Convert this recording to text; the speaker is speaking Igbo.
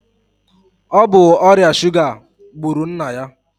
Ọ bụ ọrịa suga gburu nna ya.